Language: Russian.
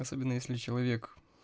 особенно если человек